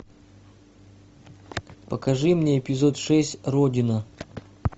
покажи мне эпизод шесть родина